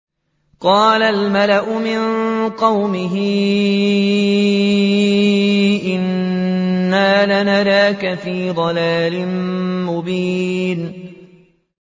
قَالَ الْمَلَأُ مِن قَوْمِهِ إِنَّا لَنَرَاكَ فِي ضَلَالٍ مُّبِينٍ